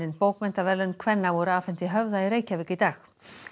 bókmenntaverðlaun kvenna voru afhent í Höfða í Reykjavík í dag